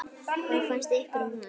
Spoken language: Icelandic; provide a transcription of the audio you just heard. Hvað fannst ykkur um hann?